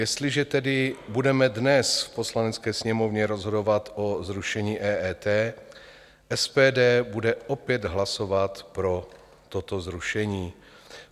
Jestliže tedy budeme dnes v Poslanecké sněmovně rozhodovat o zrušení EET, SPD bude opět hlasovat pro toto zrušení.